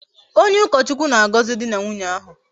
Onye ukochukwu na-agozi di na nwunye ahu